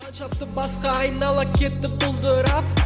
қан шапты басқа айнала кетті бұлдырап